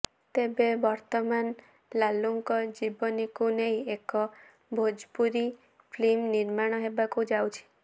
ତେବେ ବର୍ତ୍ତମାନ ଲାଲୁଙ୍କ ଜୀବନିକୁ ନେଇ ଏକ ଭୋଜପୁରୀ ଫିଲ୍ମ ନିର୍ମାଣ ହେବାକୁ ଯାଉଛି